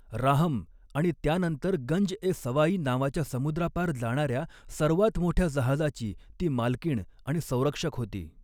राहम आणि त्यानंतर गंज ए सवाई नावाच्या समुद्रापार जाणार्या सर्वात मोठ्या जहाजाची ती मालकीण आणि संरक्षक होती.